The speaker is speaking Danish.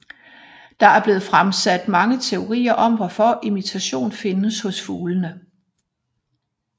Der er blevet fremsat mange teorier om hvorfor imitation findes hos fuglene